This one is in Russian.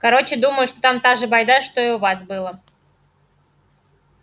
короче думаю что там та же байда что и у вас было